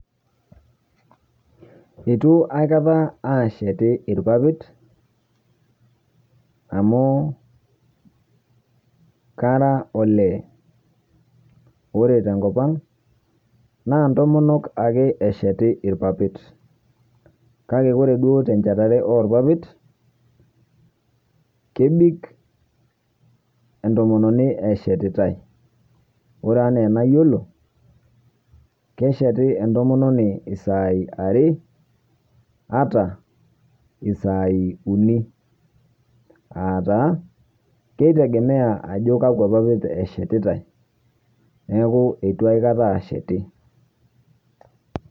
Eitu aikata ashetia irpapit amu araa ole ,ore tenkop ang naa ntomonok ake esheti irpapit ,kake ore duo tenchetare orpapit ,kebik entomononi eshetitae .ore enaa enayilo ,kesheti entomononi Isaiah are ata saai uni .aa taa keitegemea ajo kakwa papit eshetitae ,neeku eitu aikata asheti.